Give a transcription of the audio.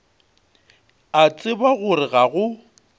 a tseba gore ga go